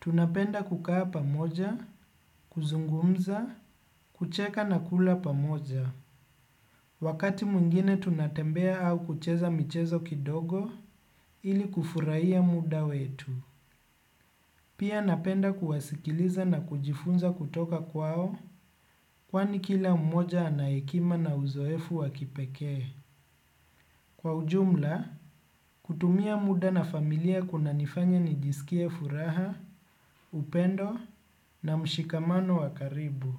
Tunapenda kukaa pamoja, kuzungumza, kucheka na kula pamoja. Wakati mwngine tunatembea au kucheza michezo kidogo ili kufurahia muda wetu. Pia napenda kuwasikiliza na kujifunza kutoka kwao kwani kila mmoja ana hekima na uzoefu wa kipekee. Kwa ujumla, kutumia muda na familia kunanifanya nijisikie furaha, upendo na mshikamano wa karibu.